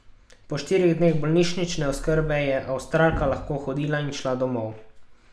Po štirih dneh bolnišnične oskrbe je Avstralka lahko hodila in šla domov.